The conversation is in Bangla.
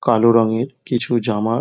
কালো রঙের কিছু জামা ।